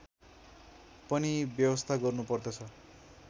पनि व्यवस्था गर्नुपर्दछ